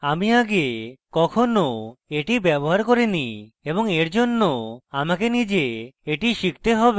আমি আগে কখনো এটি ব্যবহার করিনি এবং এর জন্য আমাকে নিজে এটি শিখতে have